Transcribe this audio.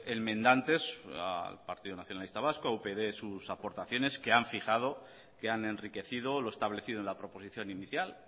enmendantes al partido nacionalista vasco a upyd sus aportaciones que han fijado que han enriquecido lo establecido en la proposición inicial